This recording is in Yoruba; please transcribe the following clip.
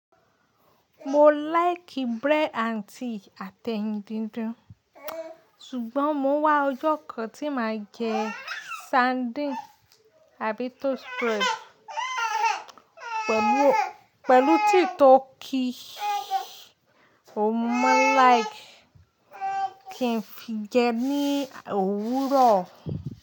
Mo like bread and tea àtẹ̀yìn díndín, ṣùgbọ́n mo ń wá ọjọ́ kan tí màá jẹ sardine àbí toast bread pẹ̀lú tíì tó kí òun mo man like kín fi jẹ ní òwúrọ̀.